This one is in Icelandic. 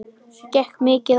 Gekk mikið á?